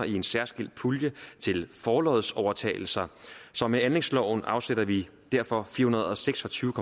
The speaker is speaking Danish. i en særskilt pulje til forlodsovertagelser så med anlægsloven afsætter vi derfor fire hundrede og seks og tyve